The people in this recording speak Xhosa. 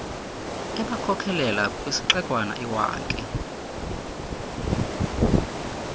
ebakhokelela kwisixekwana iwankie